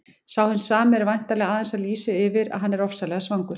Sá hinn sami er væntanlega aðeins að lýsa því yfir að hann ofsalega svangur.